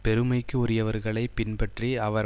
பெருமைக்கு உரியவர்களைப் பின்பற்றி அவர்